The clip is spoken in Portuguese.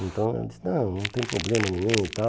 Então, ela disse, não, não tem problema nenhum e tal.